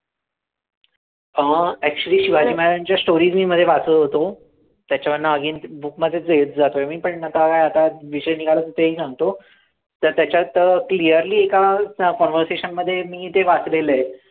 हा actually शिवाजी महाराजांच्या stories मी मध्ये वाचत होतो, त्याच्यावर नवीन book मध्ये घेतं जातोय मी आता काय आता विषय निघाला म्हणून ते ही सांगतो, त्याच्यात clearly एका conversation मध्ये मी ते वाचलेलं आहे.